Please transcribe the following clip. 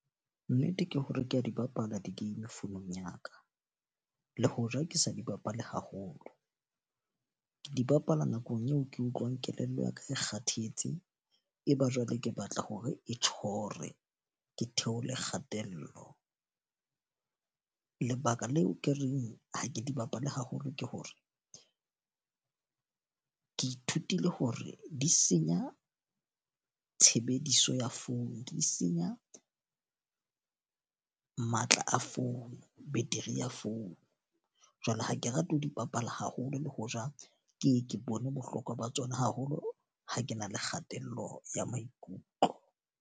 Nnete ke hore ke a di bapala di-game founung ya ka, le hoja ke sa di bapale haholo. Ke di bapala nakong eo ke utlwang kelello ya ka e kgathetse, e ba jwale ke batla hore e tjhore ke theole kgatello. Lebaka leo ke reng ha ke di bapale haholo ke hore, ke ithutile hore di senya tshebediso ya founu, di senya matla a founu, battery ya founu. Jwale ha ke rate ho di bapala haholo le hoja ke ye ke bone bohlokwa ba tsona haholo ha ke na le kgatello ya maikutlo.